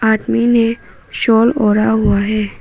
आदमी ने शॉल ओढ़ा हुआ है।